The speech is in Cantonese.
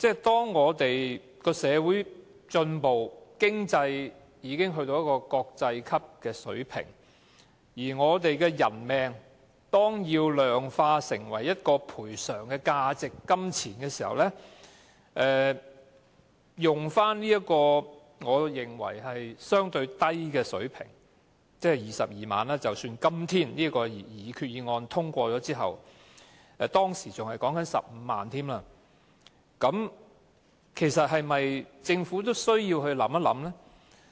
當社會進步，經濟已經達到國際級的水平，而我們的人命要量化成一個賠償價值和金額時，使用這個我認為是相對低的水平——即使今天的擬議決議案獲通過之後，賠償金額也只是22萬元，當時更只有15萬元——其實政府也有需要予以認真考慮。